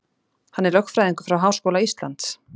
Hann er lögfræðingur frá Háskóla Íslands